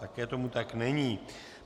Také tomu tak není.